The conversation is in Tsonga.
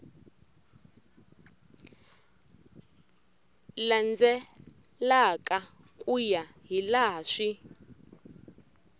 landzelaka ku ya hilaha swi